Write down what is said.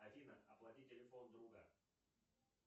афина оплати телефон друга